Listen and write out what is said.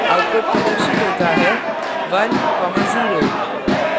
output प्रदर्शित होता है 10